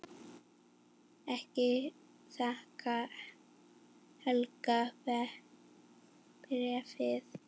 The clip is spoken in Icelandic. Ég þakka Helga bréfið.